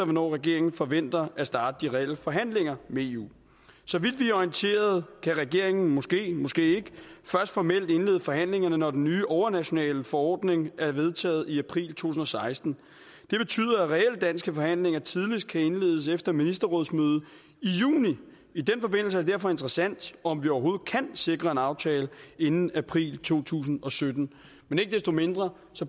hvornår regeringen forventer at starte de reelle forhandlinger med eu så vidt vi er orienteret kan regeringen måske måske ikke først formelt indlede forhandlingerne når den nye overnationale forordning er vedtaget i april to tusind og seksten det betyder at reelle danske forhandlinger tidligst kan indledes efter ministerrådsmødet i juni i den forbindelse er det derfor interessant om vi overhovedet kan sikre en aftale inden april to tusind og sytten men ikke desto mindre